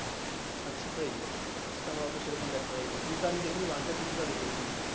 race আমার অত সেরকম দেখা হয়নি। two আমি দেখিনি one টা কিছুটা দেখেছি।